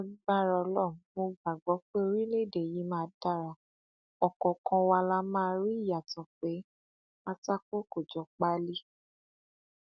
lágbára ọlọrun mo gbàgbọ pé orílẹèdè yìí máa dara ọkọọkan wa la máa rí ìyàtọ pé pátákó kò jọ páálí